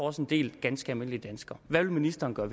også en del ganske almindelige danskere hvad vil ministeren gøre